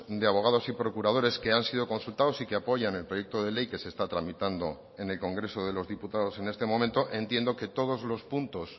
de abogados y procuradores que han sido consultados y que apoyan el proyecto de ley que se está tramitando en el congreso de los diputados en este momento entiendo que todos los puntos